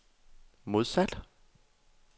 modsat